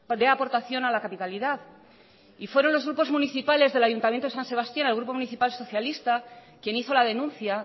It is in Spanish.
de aportación a la capitalidad y fueron los grupos municipales del ayuntamiento de san sebastián el grupo municipal socialista quien hizo la denuncia